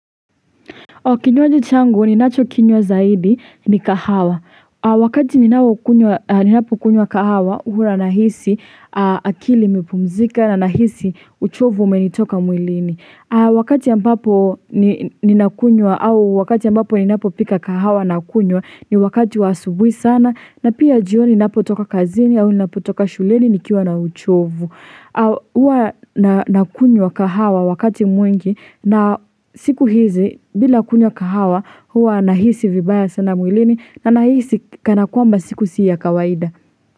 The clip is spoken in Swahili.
Kinywaji changu ni nacho kinywa zaidi ni kahawa. Wakati ni napo kunywa kahawa huwa ninahisi akili imepumzika na ninahisi uchovu umenitoka mwilini. Wakati ambapo ni napo pika kahawa na kunywa ni wakati wa asubuhi sana na pia jioni ninapo toka kazini au ninapo toka shuleni nikiwa na uchovu. Au huwa na kunywa kahawa wakati mwingi na siku hizi bila kunywa kahawa huwa ninahisi vibaya sana mwilini na nahisi kana kwamba siku siya kawaida.